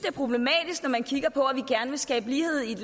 at man kigger på at vil skabe lighed i et